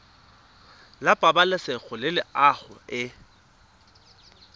la pabalesego le loago e